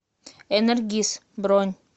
энергис бронь